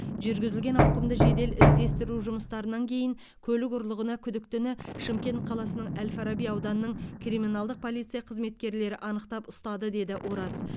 жүргізілген ауқымды жедел іздестіру жұмыстарынан кейін көлік ұрлығына күдіктіні шымкент қаласының әл фараби ауданының криминалдық полиция қызметкерлері анықтап ұстады деді ораз